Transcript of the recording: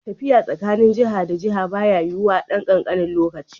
Tafiya tsakanin jiha da jiha baya yiwuwa a ɗan kankanin lokaci.